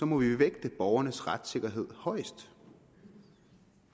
må vi vægte borgernes retssikkerhed højest